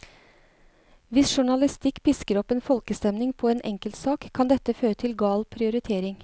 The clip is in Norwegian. Hvis journalistikk pisker opp en folkestemning på en enkeltsak, kan dette føre til gal prioritering.